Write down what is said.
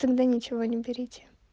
тогда ничего не берите